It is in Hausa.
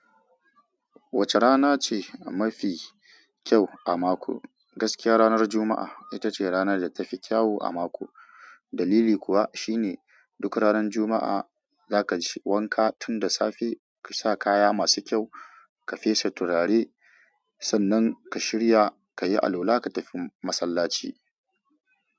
Wacce rana ce mafi kyau a mako? Gaskiya ranar Juma'a ita ce rana da tafi kyau a mako, dalili kuwa shine duk ranar Juma'a zaka yi wanka tun da safe, ka sa kaya masu kyau, ka fesa turare, sannan ka shirya ka yi alwala ka tafi masallaci.